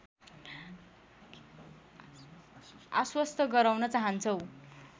आश्वस्त गराउन चाहन्छौँ